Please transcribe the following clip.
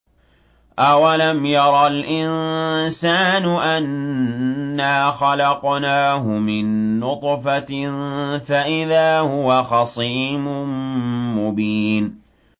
أَوَلَمْ يَرَ الْإِنسَانُ أَنَّا خَلَقْنَاهُ مِن نُّطْفَةٍ فَإِذَا هُوَ خَصِيمٌ مُّبِينٌ